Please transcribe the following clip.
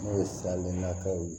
N'o ye nataw ye